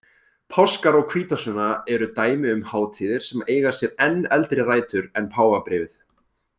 Páskar og hvítasunna eru dæmi um hátíðir sem eiga sér enn eldri rætur en páfabréfið.